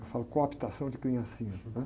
Eu falo cooptação de criancinhas, né?